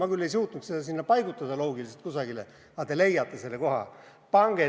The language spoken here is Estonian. Ma küll ei suutnud seda seal loogiliselt kusagile paigutada, aga te leiate selle koha.